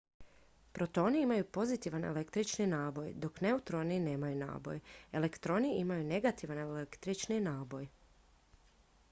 protoni imaju pozitivan električni naboj dok neutroni nemaju naboj elektroni imaju negativan električni naboj